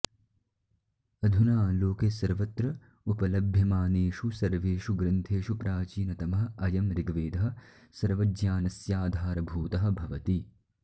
अधुना लोके सर्वत्र उपलभ्यमानेषु सर्वेषु ग्रन्थेषु प्राचीनतमः अयम् ऋग्वेदः सर्वज्ञानस्याधारभूतः भवति